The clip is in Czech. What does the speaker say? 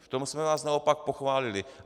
V tom jsme vás naopak pochválili.